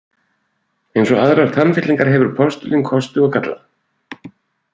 Eins og aðrar tannfyllingar hefur postulín kosti og galla.